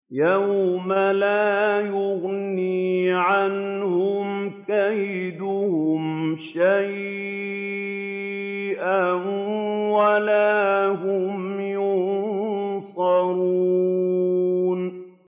يَوْمَ لَا يُغْنِي عَنْهُمْ كَيْدُهُمْ شَيْئًا وَلَا هُمْ يُنصَرُونَ